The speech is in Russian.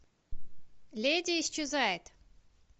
леди исчезает